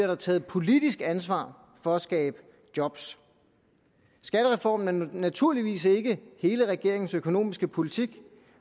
der taget politisk ansvar for at skabe job skattereformen er naturligvis ikke hele regeringens økonomiske politik